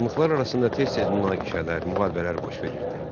Xanlıqlar arasında tez-tez münaqişələr, müharibələr baş verirdi.